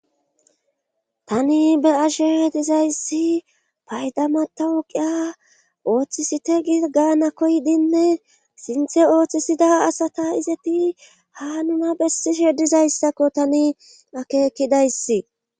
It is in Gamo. Tani be ashe dizayssi paydama tawuqiya ooththisite gigana koydinne sinthe ooththisida asata izeti ha nuna bessishe dizayssakko tani akeekidayssi.